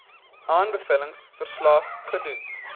aanbevelings verslag gedoen